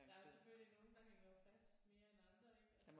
Der er selvfølgelig nogle der hænger jo fast mere end andre ik altså